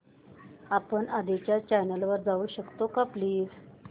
आपण आधीच्या चॅनल वर जाऊ शकतो का प्लीज